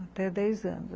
Até dez anos.